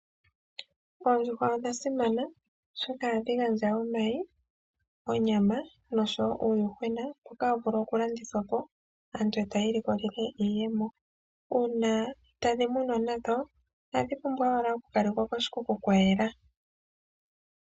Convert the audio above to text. Oondjushwa odha simana oshoka ohadhi gandja omayi, onyama noshowo uundjuhwena mboka tawu vulu okulandithwa po aantu taya ilikolele iiyemo. Uuna tadhi munwa nadho otadhi pumbwa okukalekwa koshikuku kwa yela.